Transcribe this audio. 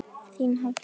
Þín Hafdís.